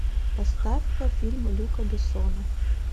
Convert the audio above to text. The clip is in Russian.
поставь ка фильм люка бессона